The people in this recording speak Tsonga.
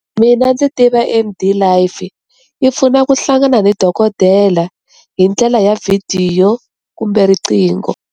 Mina ndzi tiva A_M_D life yi pfuna ku hlangana ni dokodela hi ndlela ya vhidiyo kumbe riqingho.